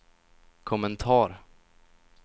kommentar